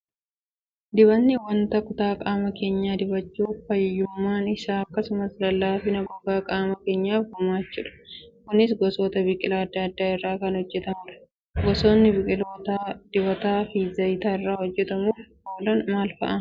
Dibatni wanta kutaa qaama keenyaa dibachuun fayyummaan isaa akkasumas lallaafina gogaa qaama keenyaaf gumaachudha. Kunis gosoota biqilaa adda addaa irraa kan hojjatamudha. Gosootni biqilootaa dibataa fi zayita irraa hojjachuuf oolan maal fa'i?